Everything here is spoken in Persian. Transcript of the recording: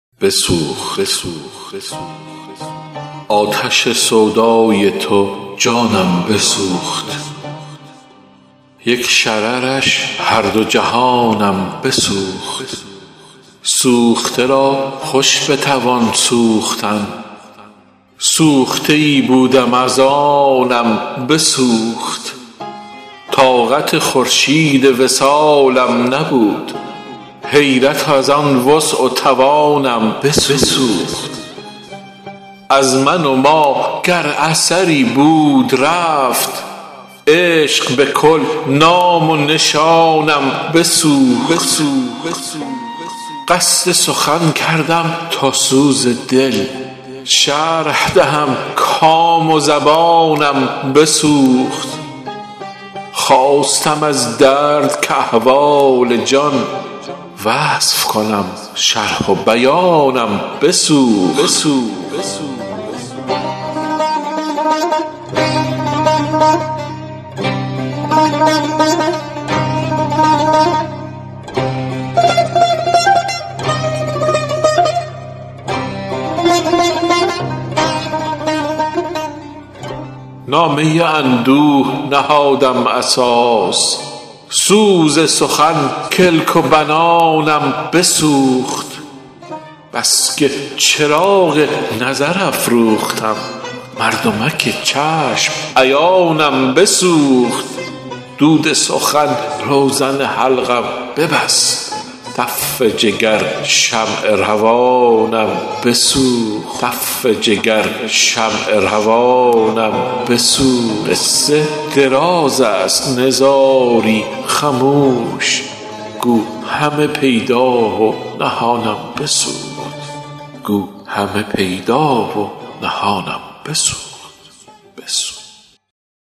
آتش سودای تو جانم بسوخت یک شررش هر دو جهانم بسوخت سوخته را خوش بتوان سوختن سوخته ای بودم از آنم بسوخت طاقت خورشید وصالم نبود حیرت از آن وسع و توانم بسوخت از من و ما گر اثری بود رفت عشق به کل نام و نشانم بسوخت قصد سخن کردم تا سوز دل شرح دهم کام و زبانم بسوخت خواستم از درد که احوال جان وصف کنم شرح و بیانم بسوخت نامه اندوه نهادم اساس سوز سخن کلک و بنانم بسوخت بس که چراغ نظر افروختم مردمک چشم عیانم بسوخت دود سخن روزن حلقم ببست تف جگر شمع روانم بسوخت قصه دراز است نزاری خموش گو همه پیدا و نهانم بسوخت